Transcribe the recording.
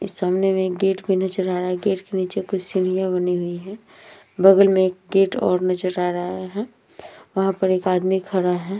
सामने में एक गेट भी नजर आ रहा है। गेट के नीचे कुछ सीढियां बनी हुई है। बगल में एक गेट और नजर आ रहा है। वहाँ पे एक आदमी खरा है।